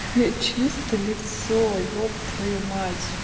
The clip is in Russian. чисто лицо еб твою мать